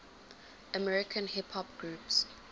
american hip hop groups